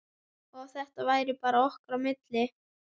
Og að þetta væri bara okkar á milli.